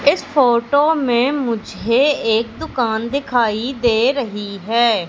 इस फोटो में मुझे एक दुकान दिखाई दे रही है।